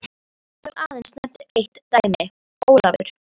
Hér skal aðeins nefnt eitt dæmi: Ólafur